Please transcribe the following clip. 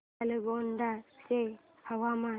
नालगोंडा चे हवामान